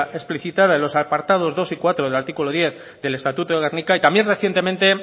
explícita de los apartados dos y cuatro del artículo diez del estatuto de gernika y también recientemente